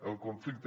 el conflicte